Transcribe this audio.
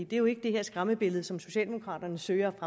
det er jo ikke det her skræmmebillede som socialdemokraterne søger at